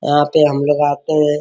यहां पे हमलोग आते है ।